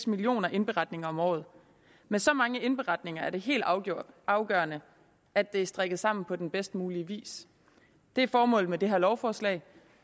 millioner indberetninger om året med så mange indberetninger er det helt afgørende afgørende at det er strikket sammen på den bedst mulige vis det er formålet med det her lovforslag